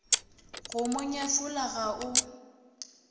go mo nyefola ga o